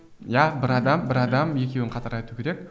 иә бір адам бір адам екеуін қатар айту керек